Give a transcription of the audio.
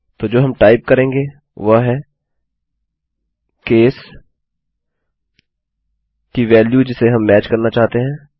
तो जो हम टाइप करेंगे वह है केस केस की वेल्यू जिसे हम मैच करना चाहते हैं